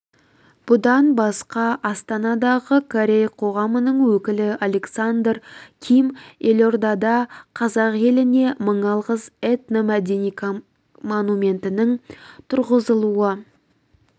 бұдан басқа астанадағы корей қоғамының өкілі александр ким елордада қазақ еліне мың алғыс этно-мәдени монументінің тұрғызылуы